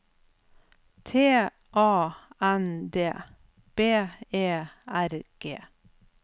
T A N D B E R G